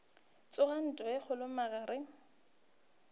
tsoga ntwa ye kgolo magareng